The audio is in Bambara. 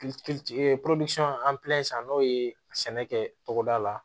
san n'o ye sɛnɛ kɛ togoda la